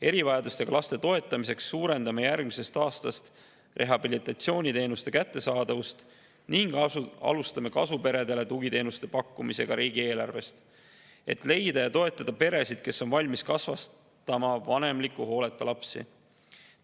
Erivajadustega laste toetamiseks suurendame järgmisest aastast rehabilitatsiooniteenuste kättesaadavust ning alustame kasuperedele riigieelarvest tugiteenuste pakkumist, et leida ja toetada peresid, kes on valmis kasvatama vanemliku hooleta lapsi.